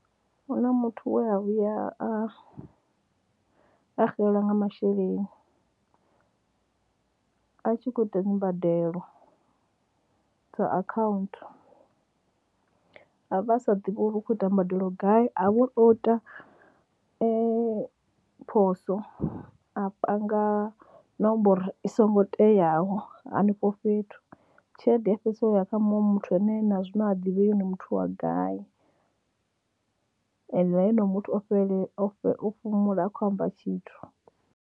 Hu na muthu we a vhuya a a xelelwa nga masheleni a tshi khou ita dzi mbadelo dza akhaunthu, vha sa ḓivhi uri u khou ita mbadelo gai, ha vha uri o ita phoso a panga nomboro i songo teaho hanefho fhethu tshelede ya fhedzisela yo ya kha muṅwe muthu ane na zwino ha ḓivhei uri ndi muthu wa gai ende na honoyo muthu o fhumula ha khou amba tshithu.